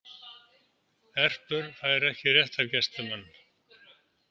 Erpur fær ekki réttargæslumann